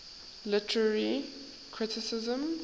literary criticism